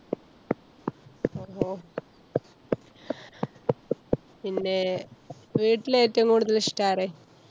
പിന്നെ~ വീട്ടില് ഏറ്റവും കൂടുതൽ ഇഷ്ടം ആരെ?